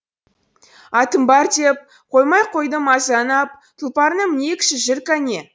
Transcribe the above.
атым бар деп қоймай қойды мазаны ап тұлпарына мінейікші жүр кәне